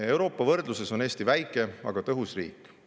Euroopa võrdluses on Eesti väike, aga tõhus riik.